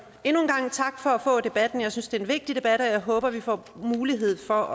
gang tak for debatten jeg synes det er en vigtig debat og jeg håber at vi får mulighed for